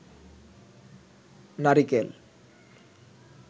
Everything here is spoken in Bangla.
নারিকেল